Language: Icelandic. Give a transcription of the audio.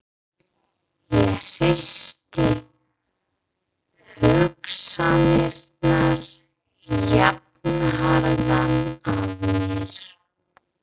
Ég hristi hugsanirnar jafnharðan af mér.